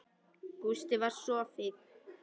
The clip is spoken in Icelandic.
Gústi var sko fínn.